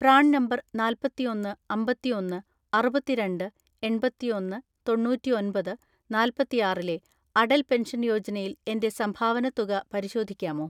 PRAN number നാല്‍പത്തിഒന്ന് അമ്പത്തിഒന്ന് അറുപത്തിരണ്ട് എണ്‍പത്തിഒന്ന് തൊണ്ണൂറ്റിഒന്‍പത് നാല്‍പത്തിആറിലെ അടൽ പെൻഷൻ യോജനയിൽ എന്റെ സംഭാവന തുക പരിശോധിക്കാമോ?